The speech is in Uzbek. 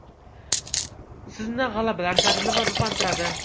Sizni g‘alabalar sari nima ruhlantiradi?